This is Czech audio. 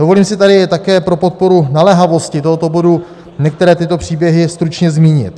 Dovolím si tady také pro podporu naléhavosti tohoto bodu některé tyto příběhy stručně zmínit.